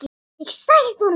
Ég sagði honum það.